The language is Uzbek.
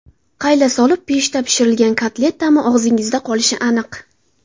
Qayla solib pechda pishirilgan kotlet ta’mi og‘zingizda qolishi aniq.